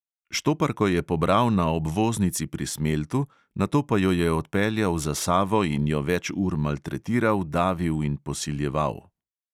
Štoparko je pobral na obvoznici pri smeltu, nato pa jo je odpeljal za savo in jo več ur maltretiral, davil in posiljeval.